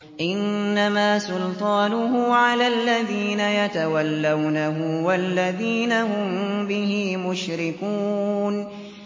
إِنَّمَا سُلْطَانُهُ عَلَى الَّذِينَ يَتَوَلَّوْنَهُ وَالَّذِينَ هُم بِهِ مُشْرِكُونَ